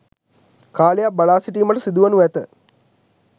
කාලයක් බලා සිටීමට සිදුවනු ඇත.